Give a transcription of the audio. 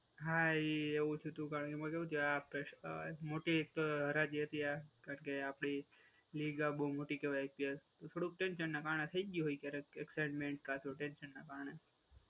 હા, એવું જ હતું. કારણ કે એમાં કેવું છે આ ભ્રષ્ટા મોટી એક તો હરાજી હતી આ કારણ કે આપડી લીગ આ બહુ મોટી કહેવાય અત્યારે. થોડું ક ટેન્શન ના કારણે થઈ ગયું હોય ક્યારે એક્સાઈમેન્ટ કાતો ટેન્શન ના કારણે.